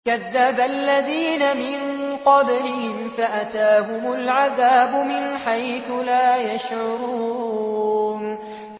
كَذَّبَ الَّذِينَ مِن قَبْلِهِمْ فَأَتَاهُمُ الْعَذَابُ مِنْ حَيْثُ لَا يَشْعُرُونَ